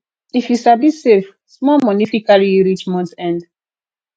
if you sabi save small money fit carry you reach month end